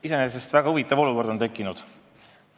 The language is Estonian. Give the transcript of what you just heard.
Iseenesest väga huvitav olukord on tekkinud.